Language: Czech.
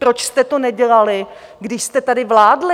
Proč jste to nedělali, když jste tady vládli?